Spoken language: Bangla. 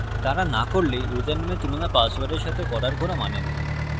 যদি তারা no করে তাহলে ইউসারনেম এর তুলনা পাসওয়ার্ড এর সাথে করার কোনো মানে নেই